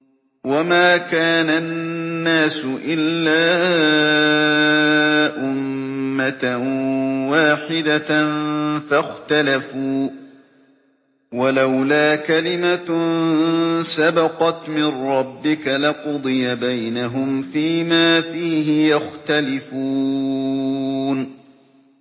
وَمَا كَانَ النَّاسُ إِلَّا أُمَّةً وَاحِدَةً فَاخْتَلَفُوا ۚ وَلَوْلَا كَلِمَةٌ سَبَقَتْ مِن رَّبِّكَ لَقُضِيَ بَيْنَهُمْ فِيمَا فِيهِ يَخْتَلِفُونَ